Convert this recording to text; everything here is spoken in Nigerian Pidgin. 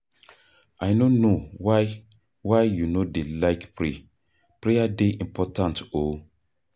I no know why why you no dey like pray, prayer dey important oo